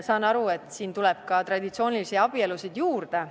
Saan aru, et siingi tuleb traditsioonilisi abielusid juurde.